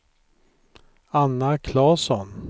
Anna Claesson